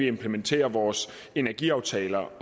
implementerer vores energiaftaler